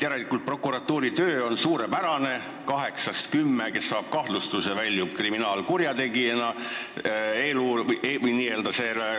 Järelikult on ju prokuratuuri töö suurepärane: kümnest kahtlustuse saanud isikust kaheksa väljub protsessist kriminaalkurjategijana.